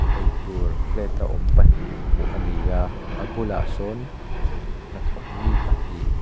eitur plate a awm pahnih hmuh ani a a bulah sawn hnathawk mi pahnih--